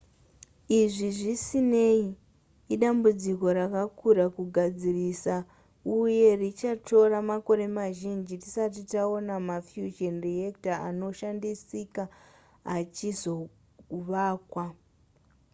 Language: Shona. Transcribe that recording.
izvi zvisinei idambudziko rakakura kugadzirisa uye richatora makore mazhinji tisati taona mafusion reactor anoshandisika achizovakwa